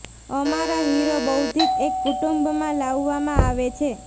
અમારા હીરો બૌદ્ધિકો એક કુટુંબ માં લાવવામાં આવે છે